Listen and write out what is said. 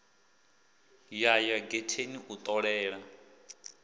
ya ya getheni u ṱolela